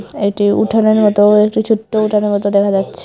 এটি উঠোনের মতো একটি ছোট উঠানের মতো দেখা যাচ্ছে।